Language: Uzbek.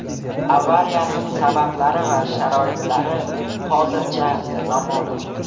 Avariyaning sabablari va sharoitlari hozircha noma’lum.